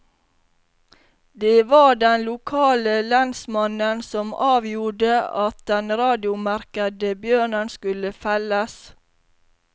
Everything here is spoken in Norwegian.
Det var den lokale lensmannen som avgjorde at den radiomerkede bjørnen skulle felles.